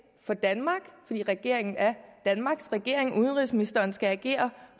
for danmark fordi regeringen er danmarks regering udenrigsministeren skal agere